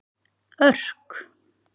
Örk